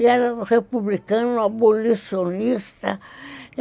Era um republicano abolicionista.